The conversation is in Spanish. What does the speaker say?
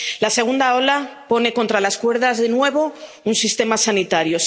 La segunda ola pone contra las cuerdas, de nuevo, al sistema sanitario.